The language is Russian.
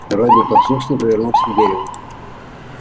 робби послушно повернулся к дереву